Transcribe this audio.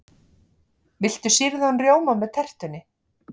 Viltu sýrðan rjóma með tertunni?